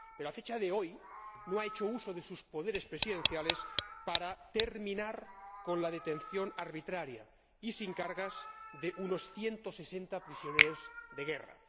Pero, a fecha de hoy, no ha hecho uso de sus poderes presidenciales para terminar con la detención arbitraria y sin cargos de unos 160 prisioneros de guerra.